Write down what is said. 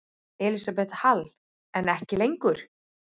Elísabet Hall: En ekki lengur?